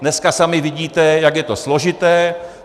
Dneska sami vidíte, jak je to složité.